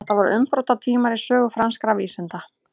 þetta voru umbrotatímar í sögu franskra vísinda